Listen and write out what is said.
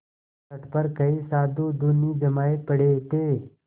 तट पर कई साधु धूनी जमाये पड़े थे